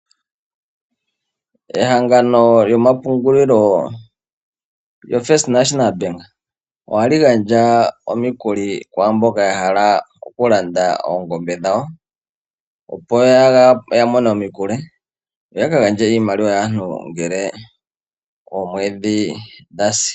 Ehangano lyomapungulilo lyombanga yotango yopashigwana ohali gandja omikuli kwamboka ya hala oku landa oongombe dhawo opo ya mone omikuli yo yaka gandje iimaliwa yaantu ngele oomwedhi dhasi.